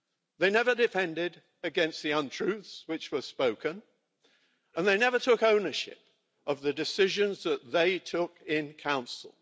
They never defended against the untruths which were spoken and they never took ownership of the decisions that they took in Council.